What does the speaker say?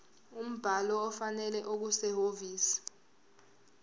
umbhalo ofanele okusehhovisi